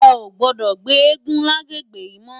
È ó gbòdò gbé égùn làgbégbé yi mò